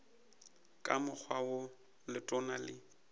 ka mokgwa wo letona le